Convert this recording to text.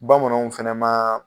Bamananw fɛnɛ maa